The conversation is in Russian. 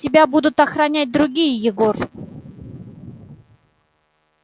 тебя будут охранять другие егор